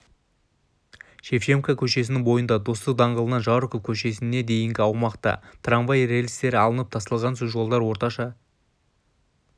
шевченко көшесінің бойында достық даңғылынан жароков көшесіне дейінгі аумақта трамвай рельстері алынып тасталған соң жолдар орташа